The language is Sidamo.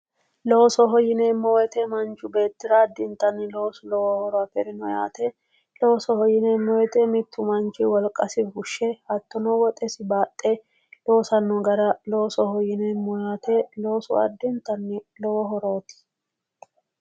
Loosoho yineemmo woyite manchu beetti addintanni loosu lowo horo afirino yaate loosoho yineemmo woyite mittu manchi wolqasi fushe hattono woxesi baaxxe loosisanno gara loosoho yineemmo yaate loosu addintanni lowo horooti